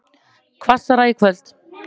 Hvassara í kvöld